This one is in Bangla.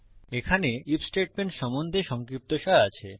এখানে আইএফ স্টেটমেন্ট সম্বন্ধে সংক্ষিপ্তসার আছে